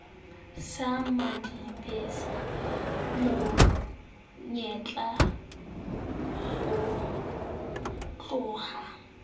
sa madibase mo nyeka hotloha